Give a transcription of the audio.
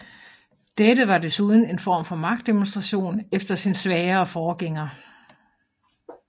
Dette var desuden en form for magtdemonstration efter sin svagere forgænger